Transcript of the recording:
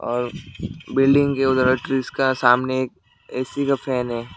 और बिल्डिंग के उधर में ट्रीस का सामने ए_सी का फैन है।